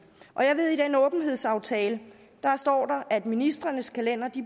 og jeg ved at i den åbenhedsaftale står der at ministrenes kalendere